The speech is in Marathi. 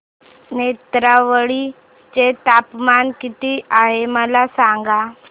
नेत्रावळी चे तापमान किती आहे मला सांगा